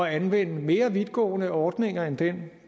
anvende mere vidtgående ordninger end den